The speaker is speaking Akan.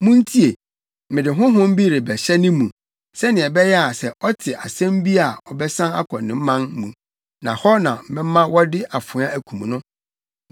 Muntie! Mede honhom bi rebɛhyɛ ne mu, sɛnea ɛbɛyɛ a sɛ ɔte asɛm bi a ɔbɛsan akɔ ne man mu na hɔ na mɛma wɔde afoa akum no.’ ”